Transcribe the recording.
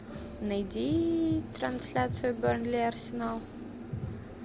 найди трансляцию бернли арсенал